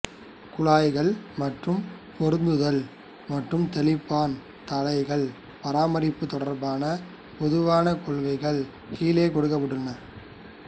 குழாய்கள் மற்றும் பொருத்துதல்கள் மற்றும் தெளிப்பான் தலைகள் பராமரிப்பு தொடர்பான பொதுவான கொள்கைகள் கீழே கொடுக்கப்பட்டுள்ளன